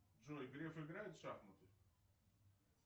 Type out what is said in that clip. джой греф играет в шахматы